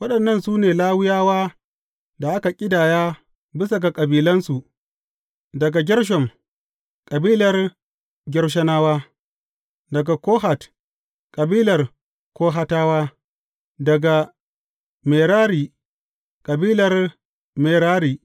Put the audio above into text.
Waɗannan su ne Lawiyawa da a ƙidaya bisa ga kabilansu, daga Gershom, kabilar Gershonawa; daga Kohat, kabilar Kohatawa; daga Merari, kabilar Merari.